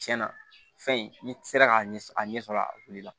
Tiɲɛna fɛn in n'i sera k'a ɲɛ a ɲɛ sɔrɔ a wulila